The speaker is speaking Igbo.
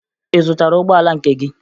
Ị zụtara ụgbọala nke gị?